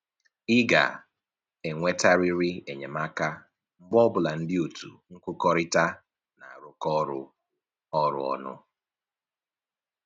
Ị ga-enwetarịrị enyemaka mgbe ọbụla ndị otu nkụkọrịta na-arụkọ ọrụ ọnụ